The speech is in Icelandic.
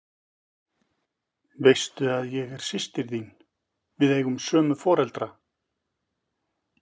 Veistu að ég er systir þín. við eigum sömu foreldra?